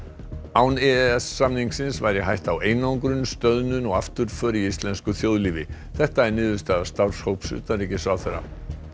án e e s samningsins væri hætta á einangrun stöðnun og afturför í íslensku þjóðlífi þetta er niðurstaða starfshóps utanríkisráðherra